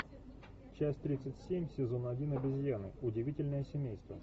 часть тридцать семь сезон один обезьяны удивительное семейство